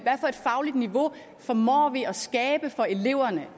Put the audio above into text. fagligt niveau formår vi at skabe for eleverne